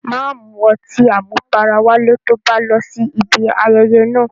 Má mu ọtí àmupara wálé to bá lọ síbi ayẹyẹ náà.